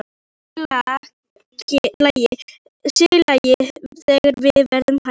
Sér í lagi þegar verðið hækkaði.